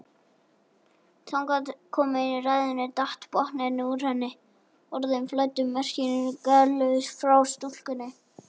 Þangað komin í ræðunni datt botninn úr henni og orðin flæddu merkingarlaus frá stúlkunni.